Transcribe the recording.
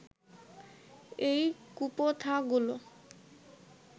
এই কুপ্রথাগুলো